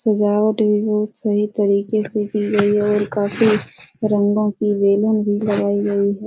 सजावट भी बहुत सही तरीके से की गई है और काफी रंगों की बैलून भी लगाई गई है।